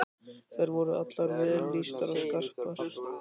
Þær voru allar vel lýstar og skarpar.